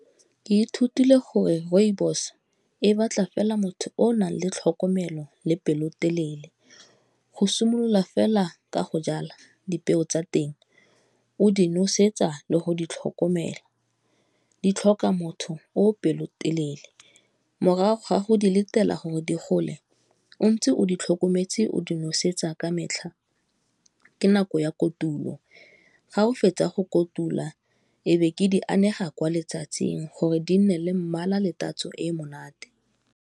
Ke ithutile gore rooibos e batla fela motho o o nang le tlhokomelo le pelotelele, go simolola fela ka go jala dipeo tsa teng o di nosetsa le go di tlhokomela, di tlhoka motho o pelotelele, morago ga go di letela gore di gole o ntse o di tlhokometse o di nosetsa ka metlha, ke nako ya kotulo, ga o fetsa go kotula e be ke di anega kwa letsatsing gore di nne le mmala le tatso e monate.